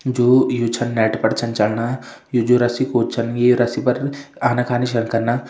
जू यु छन नेट पर छन चलणा यु जु रस्सी कूद छन ये रस्सी पर आना कानी छन कना।